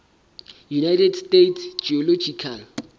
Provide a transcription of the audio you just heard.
united states geological